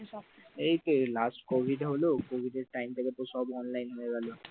ও এইতো এই last covid হলো কোবিদ time থেকে তো সব online হয়ে গেল।